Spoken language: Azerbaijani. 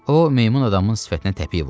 O, meymun adamın sifətinə təpik vurdu.